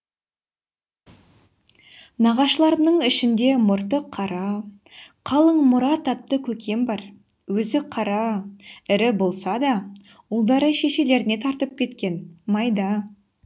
нағашыларымның ішінде мұрты қара қалың мұрат атты көкем бар өзі қара ірі болса да ұлдары шешелеріне тартып кеткен майда